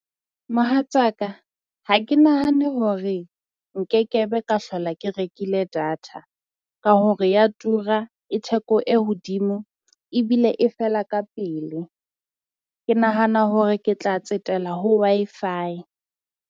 Mohatsaka ha ke nahane hore nkekebe ka hlola ke rekile data, ka hore ya tura e theko e hodimo ebile e fela ka pele. Ke nahana hore ke tla tsetela ho Wi-Fi.